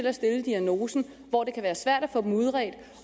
at stille diagnosen og hvor det kan være svært at få dem udredt